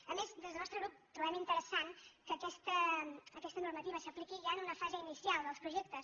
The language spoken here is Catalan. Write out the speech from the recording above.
a més des del nostre grup trobem interessant que aquesta normativa s’apliqui ja en una fase inicial dels projectes